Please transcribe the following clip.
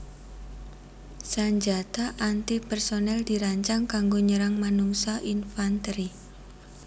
Sanjata anti personel dirancang kanggo nyerang manungsa infanteri